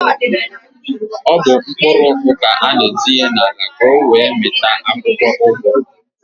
Ọ bụ mkpụrụ ụgụ ka an-etinye n'ala ka ọ wee mịta akwụkwọụgụ.